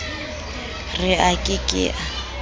re a ke ke a